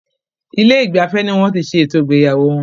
Ilé ìgbafẹ́ ní wọ́n tí ṣé ètò ìgbéyàwó wọn.